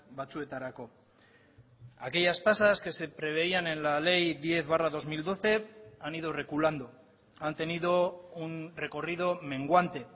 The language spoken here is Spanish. batzuetarako aquellas tasas que se preveían en la ley diez barra dos mil doce han ido reculando han tenido un recorrido menguante